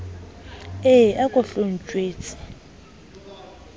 e a ko hlo ntjwetse